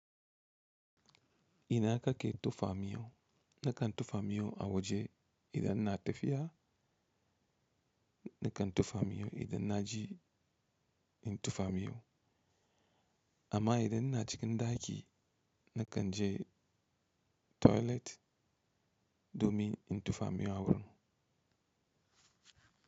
Ina kake tofa miyau, na kan tofa miyau a waje idan na tafiya, na kan tofa miyau idan na ji in tofamiyau. Amma idan ina cikin ɗaki, na kan je toilet domin in tofa miyau a wurin.